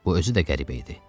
Bu özü də qəribə idi.